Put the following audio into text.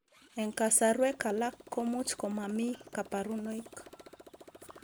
Eng kasarwek alaak komuuch komamii kaparunoik